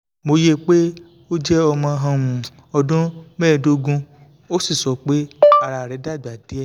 mo ye pé o jẹ́ ọmọ um ọdún medogun ó sì sọ pé ara rẹ̀ dàgbà díẹ̀